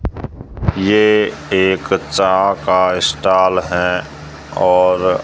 ये एक चा का स्टाल है और--